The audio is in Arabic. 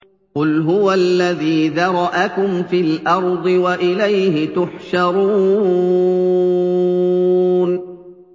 قُلْ هُوَ الَّذِي ذَرَأَكُمْ فِي الْأَرْضِ وَإِلَيْهِ تُحْشَرُونَ